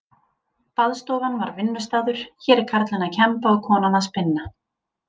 Baðstofan var vinnustaður, hér er karlinn að kemba og konan að spinna.